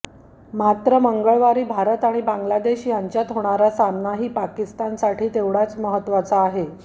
मात्र मंगळवारी भारत आणि बांगलादेश यांच्यात होणारा सामनाही पाकिस्तानसाठी तेवढाच महत्त्वाचा आहे